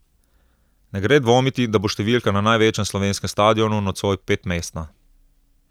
Ne gre dvomiti, da bo številka na največjem slovenskem stadionu nocoj petmestna.